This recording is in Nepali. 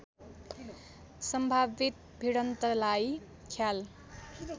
सम्भावित भिडन्तलाई ख्याल